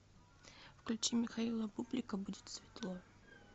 включи михаила бублика будет светло